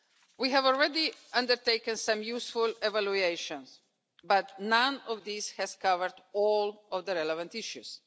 We have already undertaken some useful evaluations, but none of these has covered all of the relevant issues.